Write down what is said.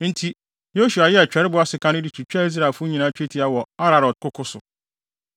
Enti, Yosua yɛɛ kyerɛwbo asekan no de twitwaa Israelfo nyinaa twetia wɔ Aaralot koko so.